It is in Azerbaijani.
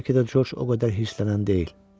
Bəlkə də Corc o qədər hirslənən deyil.